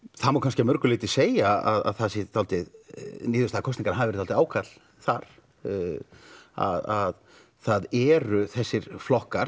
það má kannski að mörgu leiti segja að það sé svolítið niðurstaða kosninganna hafi verið svolítið ákall þar að það eru þessir flokkar